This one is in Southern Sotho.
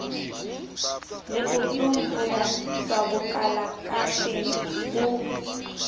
leotong ho ya tswabokalakateng ho